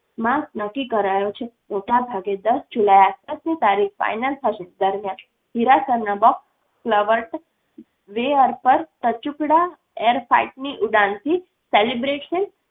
માસ નક્કી કરાયો છે. મોટા ભાગે દસ જુલાઈ આસપાસની તારીખ final થશે. દરમ્યાન હીરાસરના બોક્સ કલવર્ટ વેઅર્પર ટચૂકડા air flight ની ઉડાન થી celebration